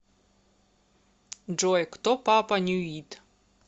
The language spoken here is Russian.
джой кто папа нюит